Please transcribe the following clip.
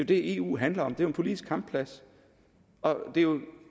det eu handler om det er en politisk kampplads og det er jo